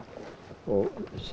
og